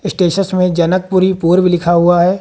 Status में जनकपुरी पूर्व लिखा हुआ है।